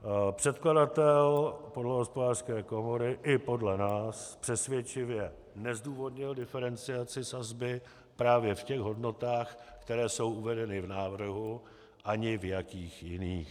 Předkladatel podle Hospodářské komory i podle nás přesvědčivě nezdůvodnil diferenciaci sazby právě v těch hodnotách, které jsou uvedeny v návrhu, ani v jakých jiných.